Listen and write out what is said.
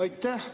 Aitäh!